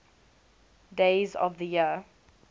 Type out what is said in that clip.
days of the year